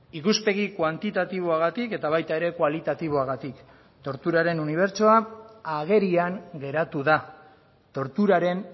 ikuspegi kuantitatiboagatik eta baita kualitatiboagatik ere torturaren unibertsoa agerian geratu da torturaren